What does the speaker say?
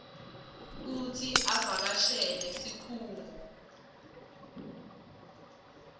kutsi avakashele sikhungo